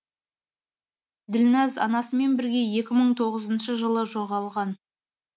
ділнәз анасымен бірге екі мың тоғызыншы жылы жоғалған